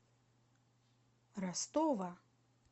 ростова